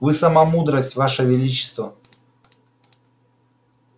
вы сама мудрость ваше величество